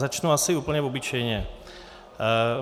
Začnu asi úplně obyčejně.